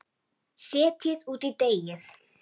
Setjið út í deigið.